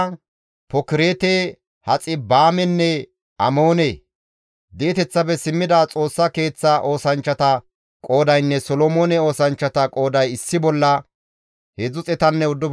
Di7eteththafe simmida Xoossa Keeththa oosanchchata qoodaynne Solomoone oosanchchata qooday issi bolla 392.